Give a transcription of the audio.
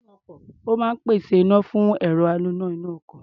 Ó máa ń pèsè iná fún ẹ̀rọ aloná inú ọkọ̀.